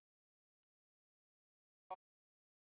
Ölvaður ók á bíl